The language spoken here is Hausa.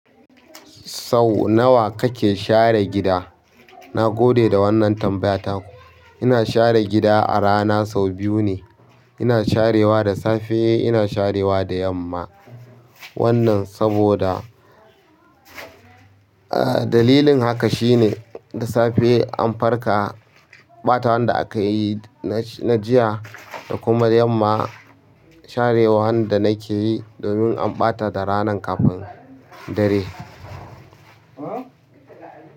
Sau nawa kake share gida? Na gode da wannan tambaya taku ina share gida a rana sau biyu ne. Ina sharewa da safe, ina sharewa da yamma. Wannan saboda, ah dalilin haka shine da safe an farka, ɓatawan da akayi na jiya da kuma yamma sharewan da nake yi domin an ɓata da ranan kafin dare.